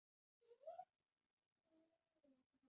Ég hef aldrei gert það.